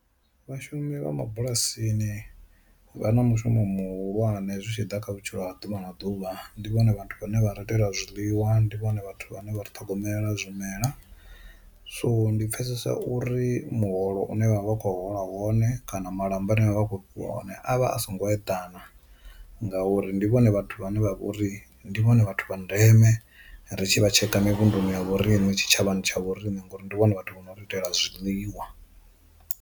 Vhashumi vha mabulasini vha na mushumo muhulwane zwi tshi ḓa kha vhutshilo ha ḓuvha na ḓuvha ndi vhone vhathu vhane vha rate ḽa zwiḽiwa, ndi vhone vhathu vhane vha ri ṱhogomela zwimela, so ndi pfesesa uri muholo une vha vha vha kho hola wone kana malamba aṋe vha vha vha kho fhiwa one avha a songo eḓana ngauri ndi vhone vhathu vhane vha vha uri ndi vhone vhathu vha ndeme ri tshi vha tsheka mirunduni ya vhorine tshi tshavhani tsha vhoriṋe ngauri ndi vhone vhathu vho no ri itela zwiḽiwa.